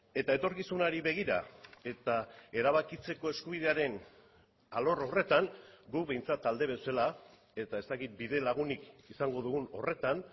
eta etorkizunari begira eta erabakitzeko eskubidearen alor horretan guk behintzat talde bezala eta ez dakit bidelagunik izango dugun horretan